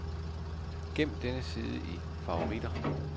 Gem denne side i favoritter.